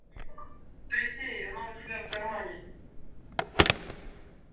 присей она у тебя в кармане